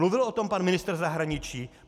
Mluvil o tom pan ministr zahraničí?